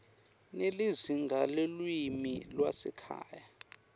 nelizinga lelulwimi lwasekhaya